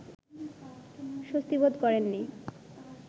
স্বস্তিবোধ করেননি